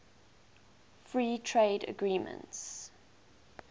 free trade agreements